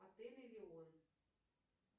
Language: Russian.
отель элеон